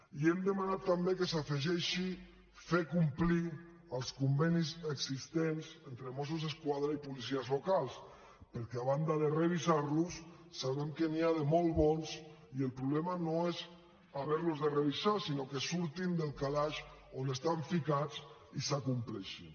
i hem demanat també que s’afegeixi fer complir els convenis existents entre mossos d’esquadra i policies locals perquè a banda de revisar los sabem que n’hi ha de molt bons i el problema no és haver los de revisar sinó que surtin del calaix on estan ficats i s’acompleixin